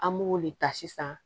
An b'o de ta sisan